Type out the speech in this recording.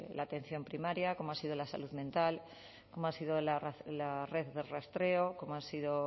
la atención primaria como ha sido la salud mental como ha sido la red de rastreo como ha sido